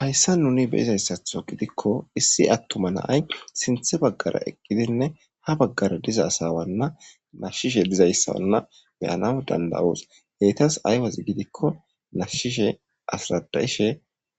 Haysan nuuni be'izasato gidiko issi atuma na'ay sinthe bagara eqidine ha bagara diza asawana nashishe dizaysana be'anawu danda'os enta eetas ay wozi gidiko nashishe asarada'ishe